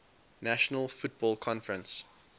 national football conference